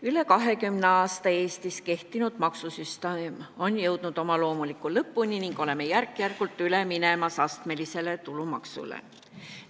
Üle 20 aasta Eestis kehtinud maksusüsteem on jõudnud oma loomuliku lõpuni ning oleme järk-järgult üle minemas astmelisele tulumaksule.